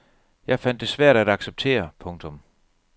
Jeg fandt det svært at acceptere. punktum